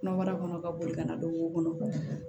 Kɔnɔbara kɔnɔ ka boli ka na don o kɔnɔ